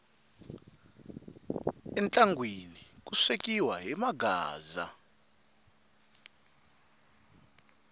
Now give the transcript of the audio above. entlangwini ku swekiwa hi maghaaza